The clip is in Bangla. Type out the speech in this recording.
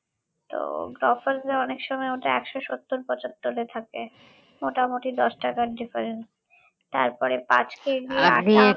তো গ্রফার্সে অনেক সময় ওটা একশ সত্তর পঁচাত্তরে থাকে মোটামুটি দশ টাকার difference তারপরে পাঁচ KG আটা